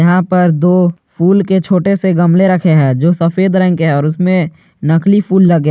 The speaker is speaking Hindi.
यहां पर दो फूल के छोटे से गमले रखे हैं जो सफेद रंग के है और उसमें नकली फूल लगे--